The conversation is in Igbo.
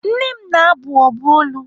Nne m na-abụ ọbụ olu.